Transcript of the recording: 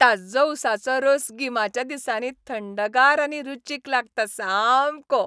ताज्जो ऊसाचो रोस गिमाच्या दिसांनी थंडगार आनी रुचीक लागता सामको.